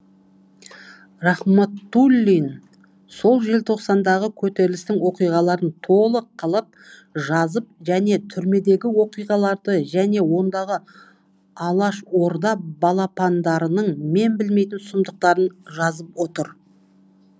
рахматуллин сол желтоқсандағы көтерілістің оқиғаларын толық қылып жазып және түрмедегі оқиғаларды және сондағы алашорда балапандарының мен білмейтін сұмдықтарын жазып отыр